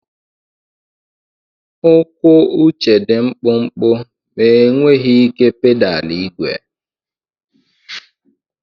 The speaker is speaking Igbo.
Ụkwụ Uche dị mkpụmkpụ ma enweghị ike pedal igwe.